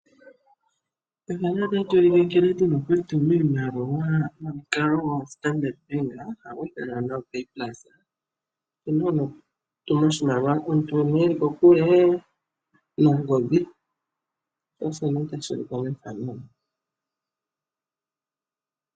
Nkene wuna okutuma oshimaliwa nongodhi nomukalo gwoStandard bank ngono hagu ithanwa opay pulse to tumu komuntu ngoka eli kokule.